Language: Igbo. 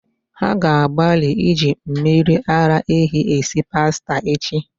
Ha ga-agbalị iji mmiri ara ehi esi pasta echi